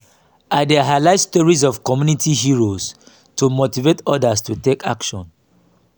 i dey highlight stories of community heroes to motivate odas to take action.